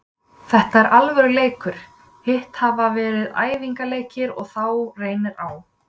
Þetta er alvöru leikur, hitt hafa verið æfingaleikir, og þá reynir á.